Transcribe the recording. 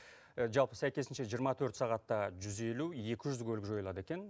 жалпы сәйкесінше жиырма төрт сағатта жүз елу екі жүз көлік жойылады екен